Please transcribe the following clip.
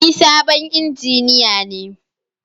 Ni sabon injiniya ne